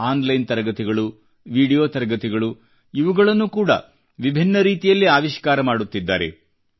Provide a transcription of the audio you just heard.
on line ತರಗತಿಗಳು ವಿಡಿಯೋ ತರಗತಿಗಳು ಇವುಗಳನ್ನು ಕೂಡಾ ವಿಭಿನ್ನ ರೀತಿಯಲ್ಲಿ ಆವಿಷ್ಕಾರ ಮಾಡುತ್ತಿದ್ದಾರೆ